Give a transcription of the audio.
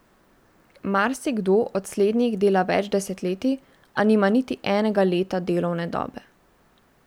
Marsikdo od slednjih dela več desetletij, a nima niti enega leta delovne dobe.